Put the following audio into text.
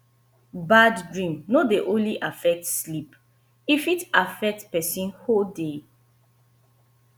bad dream no dey only affect sleep e fit affect person whole day